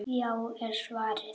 Já! er svarið.